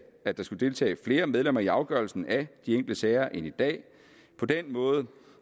at der skulle deltage flere medlemmer i afgørelsen af de enkelte sager end i dag på den måde